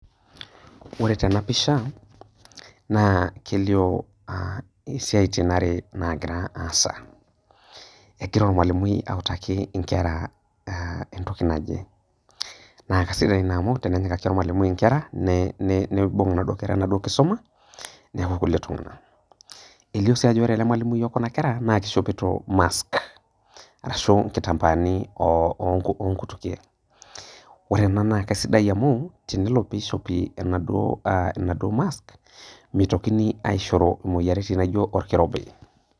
Ore tena pisha naa kelio ah isiaitin are nagira aasa. Egira olmwalimui autaki inkera aah entoki naje. Naa kasidai ina amu tenenyikaki olmalimui inkera nee neibung' naduo kera enaduo kisoma neaku kulie tung'ana. Elio sii ajo ore ele mwalimui o kuna kera nakeishopito mask arashu nkitambaani oo onkutukie. Ore ena nake sidai amu tenelo peishopi enaduo ah enaduo  mask meitokini aishoru imoyaritin naijo olkirobi.